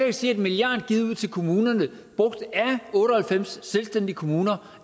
ikke sige at en milliard givet ud til kommunerne brugt af otte og halvfems selvstændige kommuner